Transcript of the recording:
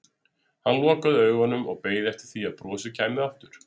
Hann lokaði augunum og beið eftir því að brosið kæmi aftur.